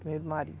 Do mesmo marido.